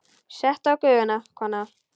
Settu á Gufuna, kona!